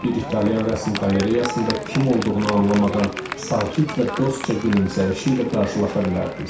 Bir İtalyan rəsm qalereyasında kim olduğunu anlamadan sakit və dostca gülümsəyişi ilə qarşılaşa bilərdiniz.